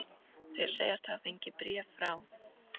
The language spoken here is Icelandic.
Þeir segjast hafa fengið bréf frá